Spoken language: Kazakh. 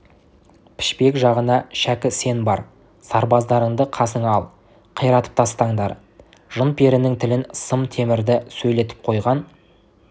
пішпек жағына шәкі сен бар сарбаздарыңды қасыңа ал қиратып тастаңдар жын-перінің тілін сым темірді сөйлетіп қойған